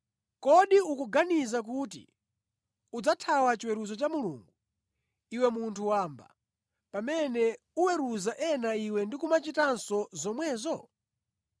Kodi ukuganiza kuti udzathawa chiweruzo cha Mulungu iwe munthu wamba, pamene uweruza ena, iwe ndi kumachitanso zomwezo?